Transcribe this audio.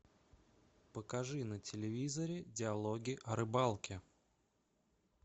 покажи на телевизоре диалоги о рыбалке